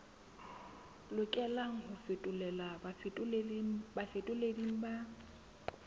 lokelang ho fetolelwa bafetoleding ba